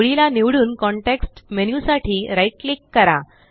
ओळीला निवडून context menu साठी right क्लिक करा